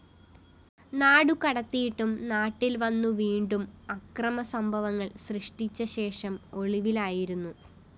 നാടുകടത്തിയിട്ടും നാട്ടില്‍വന്നു വീണ്ടും അക്രമസംഭവങ്ങള്‍ സൃഷ്ടിച്ചശേഷം ഒളിവിലായിരുന്നു